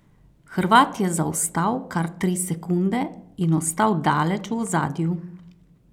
Hrvat je zaostal kar tri sekunde in ostal daleč v ozadju.